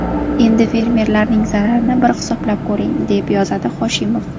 Endi fermerlarning zararini bir hisoblab ko‘ring…”, deb yozadi Hoshimov.